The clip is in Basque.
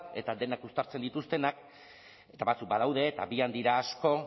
eta denak uztartzen dituztenak eta batzuk badaude eta abian dira asko